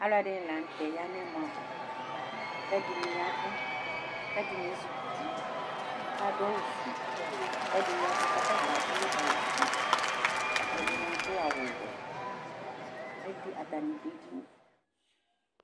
Alʊɛfɩnɩ lanʊtɛ ya nɛmɔ ava Kɛdɩnɩ yavʊ Kɛdɩnɩ ezikutɩ kafʊ awʊ fue Kɛdɩ yavʊ kɔtabi adʊ awʊ fue Ɛdɩnɩ adʊ awʊ wɛ Kɛdinɩ atanɩ dʊ edinɩ